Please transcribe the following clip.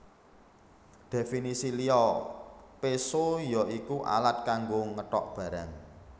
Dhèfinisi liya péso ya iku alat kanggo ngetok barang